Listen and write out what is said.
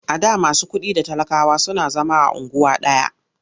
A da masu kuɗi da talakawa suna zama a unguwa ɗaya.